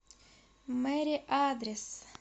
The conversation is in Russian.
мэри адрес